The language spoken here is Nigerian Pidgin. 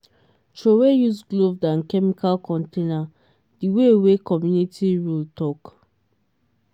throwaway used glove and chemical container the way wey community rule talk.